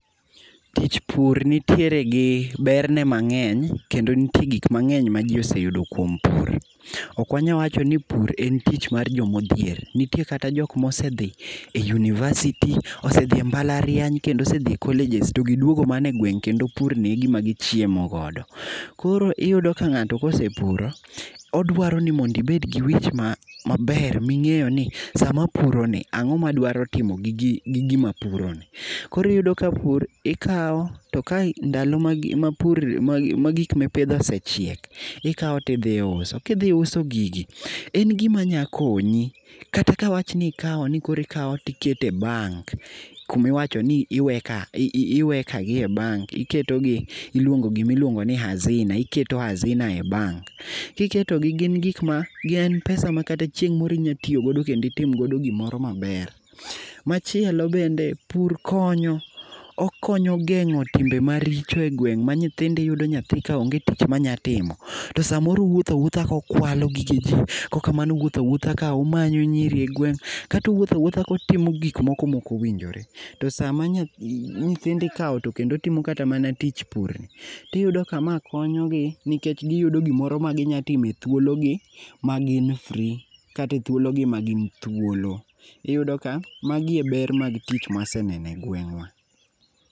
Tich pur nitiere gi berne mangeny kendo nitie gik mangeny ma ji oseyudo kuom pur. Ok wanyal wacho ni pur en tich mar joma odhier. Nitie kata jokma osedhi e university, osedhi e mbalariany kendo osedhi e [sc]college to giduogo mana e gwenge kendo pur ni egima gichiemo godo. Koro iyudo ka ngato osepuro odwaro ni ibed gi wich maber mingeyoni sama apuroni ango madwaro tio gi gima apuro ni. Koro iyudo ka pur ikaw to ndalo ma pur ma gik mipidho osechiek ikao tidhi iuso, kidhi iuso gigi en gima nya konyi kata ka awach ni koro ikaw to ikete bank kumiwachoni iweka gi e bank, iketogi e gimi luongo ni [sc]hazina, iketo hazina e bank. Kiketogi gin gikma gin pesa ma chieng moro inyalo tiyo go ma itim go gima ber. Machielo bende pur konyo, okonyo gengo timbe maricho e gweng ma nyithindo iyudo nyathi ka onge tich monya timo to samoro owuotho awuotha kokwanyo gige jii kata owuotho awuotha komanyo nyiri je gweng kata owuotho awuoth akotimo gik moko maok owinjore. To sama nyithindo ikaw to timo kata tich pur ni tiyudo ka ma konyogi nikech giyudo gmoro ma ginya timo e thuolo gi magin free, kata e thuolo gi magin thuolo. Iyudo ka magi e er mag tich maseneno e gweng wa.